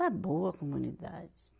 Está boa a comunidade.